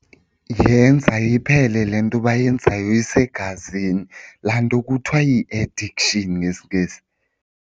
Yenza iphele le nto bayenzayo isegazini, laa nto kuthiwa yi-addiction ngesiNgesi.